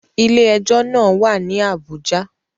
Ilé ẹjọ́ náà wà ní Àbújá